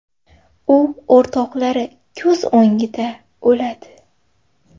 U o‘rtoqlari ko‘z o‘ngida o‘ladi.